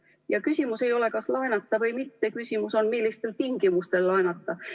Ja küsimus ei ole selles, kas laenata või mitte, vaid küsimus on selles, millistel tingimustel laenata.